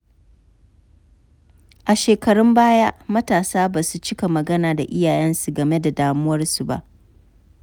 A shekarun baya, matasa ba su cika magana da iyayensu game da damuwarsu ba.